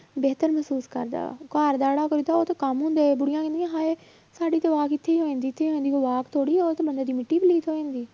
ਬਿਹਤਰ ਮਹਿਸੂਸ ਕਰਦਾ ਵਾ ਘਰ ਜਿਹੜਾ ਕਰੀਦਾ ਉਹ ਤੇ ਕੰਮ ਹੈ ਬੁੜੀਆਂ ਕਹਿੰਦੀਆਂ ਹਾਏ ਸਾਡੀ ਤਾਂ walk ਇੱਥੇ ਹੋ ਜਾਂਦੀ ਇੱਥੇ ਹੋ ਜਾਂਦੀ ਥੋੜ੍ਹੀ ਆ, ਉਹ ਤਾਂ ਬੰਦੇ ਦੀ ਮਿੱਟੀ ਪਲੀਤ ਹੋ ਜਾਂਦੀ